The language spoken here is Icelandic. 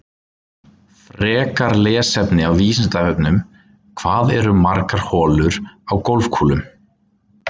Frekara lesefni á Vísindavefnum: Hvað eru margar holur á golfkúlum?